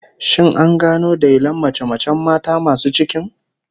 Shin an gano dailin mace-macen mata masu cikin?